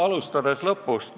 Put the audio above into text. Alustan lõpust.